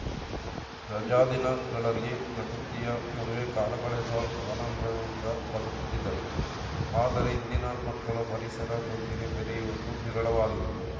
ರಜಾ ದಿನಗಳಲ್ಲಿ ಪ್ರಕೃತಿಯ ನಡುವೆ ಕಾಲ ಕಳೆದು ಆನಂದದಿಂದ ಬದುಕುತ್ತಿದ್ದರು ಆದರೆ ಇಂದಿನ ಮಕ್ಕಳು ಪರಿಸರದೊಂದಿಗೆ ಬೆರೆಯುವುದು ವಿರಳವಾಗಿದೆ